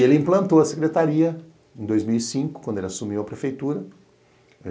E ele implantou a secretaria em dois mil e cinco, quando ele assumiu a prefeitura.